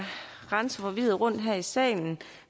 rende forvirret rundt her i salen